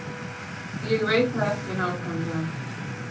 Ég veit það ekki nákvæmlega.